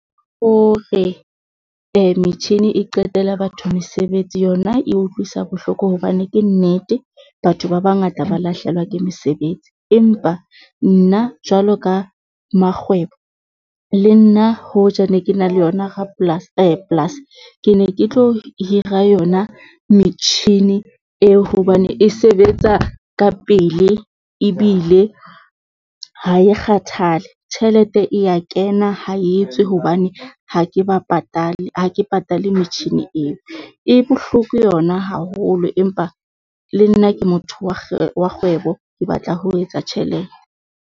O re metjhini e qetela batho mesebetsi yona e utlwisa bohloko hobane ke nnete, batho ba bangata ba lahlehelwa ke mesebetsi. Empa nna jwalo ka makgwebo le nna, hoja ne ke na le yona rapolasi polasi ne ke tlo hira yona metjhini eo hobane e sebetsa ka pele ebile ha e kgathale, tjhelete ya kena ha etswe hobane ha ke ba patale. Ha ke patale metjhini eo e bohloko yona haholo empa le nna ke motho wa kgwebo, ke batla ho etsa tjhelete.